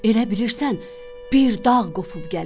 Elə bilirsən bir dağ qopub gəlir.